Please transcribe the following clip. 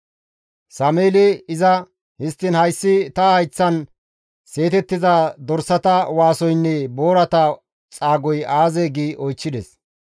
Sameeli iza, «Histtiin hayssi ta hayththan seetettiza dorsata waasoynne boorata xaagoy aazee?» gi oychchides.